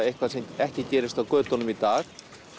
eitthvað sem ekki gerist á dögunum í dag